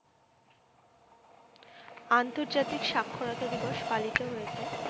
আন্তর্জাতিক সাক্ষরতা দিবস পালিত হয়েছে।